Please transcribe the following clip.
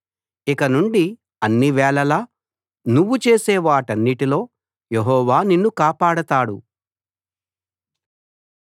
ఇకనుండి అన్ని వేళలా నువ్వు చేసే వాటన్నిటిలో యెహోవా నిన్ను కాపాడతాడు